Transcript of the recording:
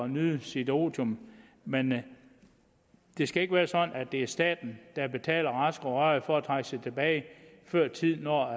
nyde sit otium men det skal ikke være sådan at det er staten der betaler raske og rørige for at trække sig tilbage før tid når